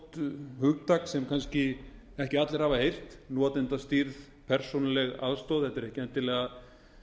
stórt hugtak sem kannski ekki allir hafa heyrt notendastýrð persónuleg aðstoð þetta er ekki endilega